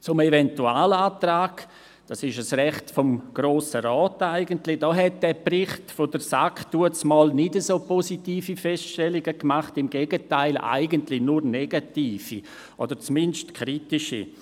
Zum Eventualantrag – dieser ist eigentlich ein Recht des Grossen Rats – machte der Bericht der SAK damals nicht so positive Feststellungen, im Gegenteil, eigentlich nur negative oder zumindest kritische.